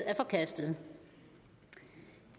er forkastet